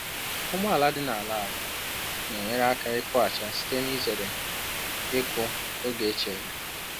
Ụgbọala dị n’ala ala na-enyere aka ịkụ acha site n’izere ịkụ oge echere